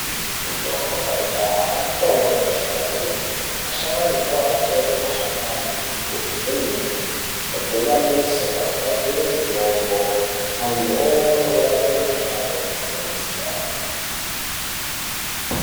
Mitombo yekudhaya mitombo inoshanda kwemene, asharukwa aitore mashakani nembudzi dzemiti odhuvanisa ogadzire mitombo antu omwe orape mikhuhlani yakasiyana-siyana.